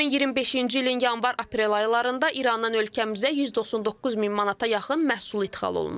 2025-ci ilin yanvar-aprel aylarında İrandan ölkəmizə 199 min manata yaxın məhsul ixal olunub.